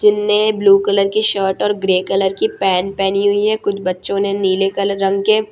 जिनने blue colour की shirt और ग्रे कलर की पैंट पहेनी हुई है कुछ बच्चों ने नीले कलर रंग के --